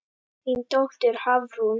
Þín dóttir, Hafrún.